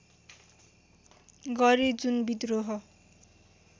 गरे जुन विद्रोह